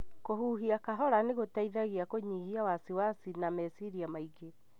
Kũhuhia kahora nĩ gũteithagia kũnyihia wasiwasi na meciria maingĩ.